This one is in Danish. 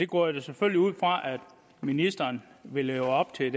går da selvfølgelig ud fra at ministeren vil leve op til